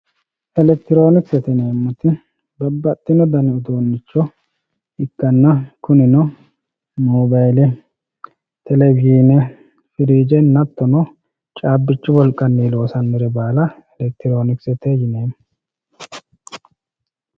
elektroonikisete yineemoti babbadhino dani uduunicho ikkanna kunino mobayiile, televishiine firiijenna hattono caabichu wolqanni loosanore baala elektroonikisete yinanni